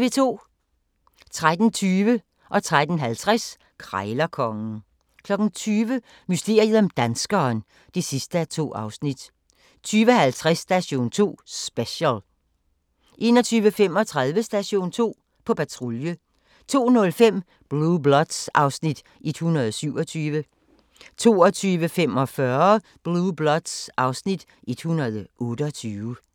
13:20: Krejlerkongen 13:50: Krejlerkongen 20:00: Mysteriet om danskeren (2:2) 20:50: Station 2: Special 21:35: Station 2: På patrulje 02:05: Blue Bloods (Afs. 127) 02:45: Blue Bloods (Afs. 128)